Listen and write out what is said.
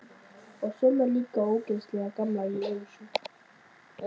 Og svona líka ógeðslega gamla jússu.